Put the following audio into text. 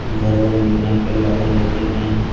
घर बने दिख रहे हैं। पेड़ हरे भरे दिख रहे हैं।